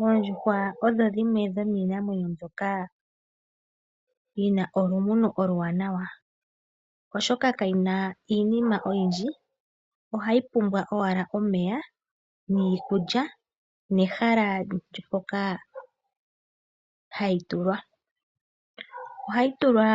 Oondjuhwa odho dhimwe dhomiinamwenyo mbyoka yina olumuno oluwanawa, oshoka kayina iinima oyindji ohayi pumbwa owala omeya niikulya nehala mpoka hadhi tulwa. Ohayi tulwa